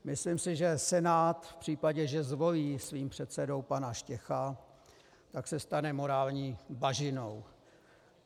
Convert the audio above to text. Myslím si, že Senát v případě, že zvolí svým předsedou pana Štěcha, tak se stane morální bažinou.